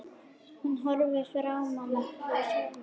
Hún horfir fram fyrir sig.